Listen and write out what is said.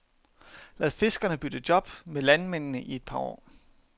Lad fiskerne bytte job med landmændene i et par år.